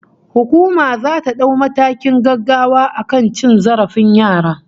Hukuma zata dau matakin gaggawa akan cin zarafin yara